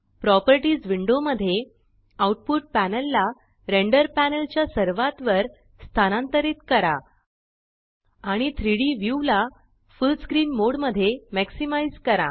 properties window मध्ये output panel ला render panel च्या सर्वात वर स्थानांतरित करा आणि 3डी व्यू ला फुल्ल स्क्रीन मोड मध्ये मॅक्सिमाइज़ करा